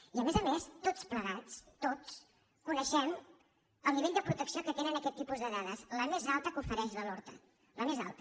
i a més a més tots plegats tots coneixem el nivell de protecció que tenen aquest tipus de dades la més alta que ofereix la lortad la més alta